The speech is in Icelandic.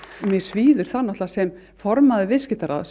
mig svíður það sem formaður Viðskiptaráðs